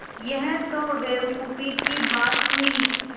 यह तो बेवकूफ़ी की बात हुई